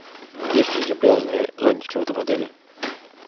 есть ли эти пляжные зонтики в этом отеле